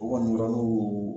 U kɔni o yɔrɔni o